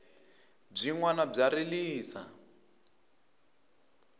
byinwani bya rilisa